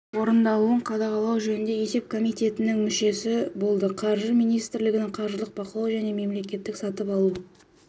орындалуын қадағалау жөніндегі есеп комитетінің мүшесі болды қаржы министрлігінің қаржылық бақылау және мемлекеттік сатып алу